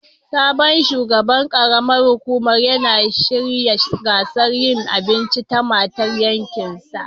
Sabon shugaban karam ar hukumar yana shirya gasar yinn abinci ta matan yankin sa